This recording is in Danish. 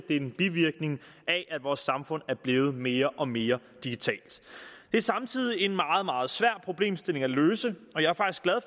er en bivirkning af at vores samfund er blevet mere og mere digitalt det er samtidig en meget meget svær problemstilling at løse